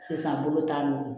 Sisan bolo t'an bolo